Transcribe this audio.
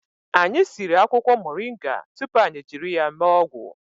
Anyị siri akwụkwọ moringa tupu anyị jiri ya mee ọgwụ